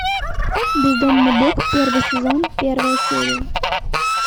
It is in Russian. бездомный бог первый сезон первая серия